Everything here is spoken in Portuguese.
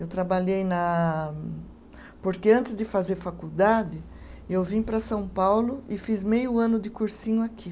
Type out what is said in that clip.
Eu trabalhei na. Porque antes de fazer faculdade, eu vim para São Paulo e fiz meio ano de cursinho aqui.